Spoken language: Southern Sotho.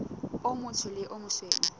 o motsho le o mosweu